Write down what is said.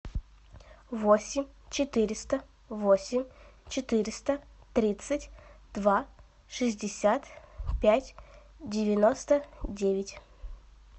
восемь четыреста восемь четыреста тридцать два шестьдесят пять девяносто девять